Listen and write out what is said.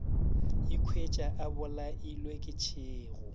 ikhwetša a bolailwe ke tšhego